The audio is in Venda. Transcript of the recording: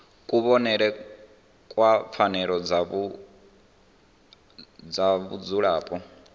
kuvhonele kwa pfanelo dza vhadzulapo